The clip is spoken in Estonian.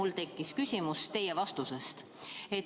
Mul tekkis küsimus teie vastuse peale.